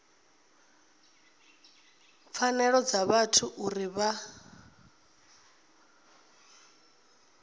pfanelo dza vhathu uri vha